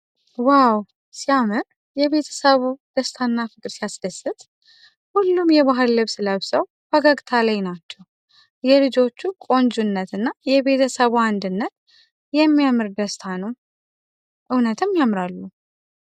ዋው ሲያምር! የቤተሰቡ ደስታና ፍቅር ሲያስደስት! ሁሉም የባህል ልብስ ለብሰው ፈገግታ ላይ ናቸው። የልጆቹ ቆንጆነት እና የቤተሰቡ አንድነት የሚያምር ደስታ ነው። እውነትም ያምራሉ!